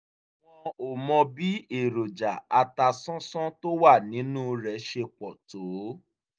wọ́n ò mọ bí èròjà atasánsán tó wà nínú rẹ̀ ṣe pọ̀ tó